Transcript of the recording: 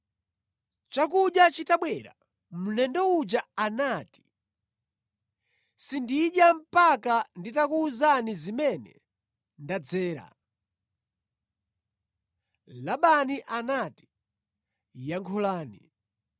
Chakudya chitabwera mlendo uja anati, “Sindidya mpaka nditakuwuzani zimene ndadzera kuno.” Labani anati, “Yankhulani.”